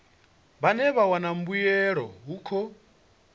vhane vha wana mbuelo hukhu